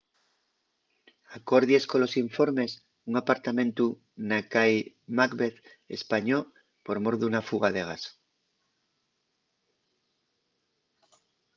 acordies colos informes un apartamentu na cai macbeth españó por mor d’una fuga de gas